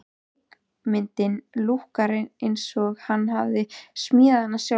Leikmyndin lúkkar eins og hann hafi smíðað hana sjálfur.